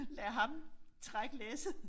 Lade ham trække læsset